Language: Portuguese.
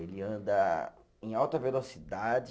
Ele anda em alta velocidade